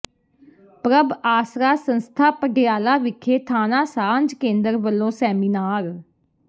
ਪ੍ਰਭ ਆਸਰਾ ਸੰਸਥਾ ਪਡਿਆਲਾ ਵਿਖੇ ਥਾਣਾ ਸਾਂਝ ਕੇਂਦਰ ਵਲੋਂ ਸੈਮੀਨਾਰ